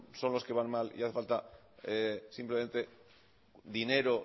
son los que van mal y hace falta simplemente dinero